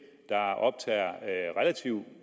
der optager